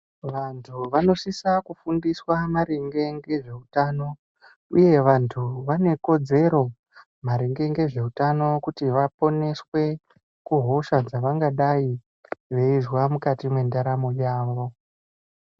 Vantu vanosisa kufundiswa maringe ngezveutano uye vantu vane kodzero maringe ngezveutano kuti vaponeswe kuhosha dzavangadai veizwa mukati mwendaramu yavo.